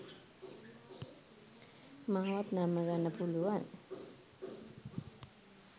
මාවත් නම්මාගන්න පුළුවන්